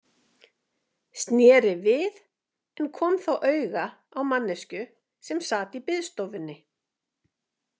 Sneri við en kom þá auga á manneskju sem sat í biðstofunni.